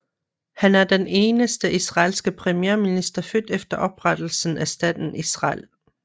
Han er den eneste israelske premierminister født efter oprettelsen af staten Israel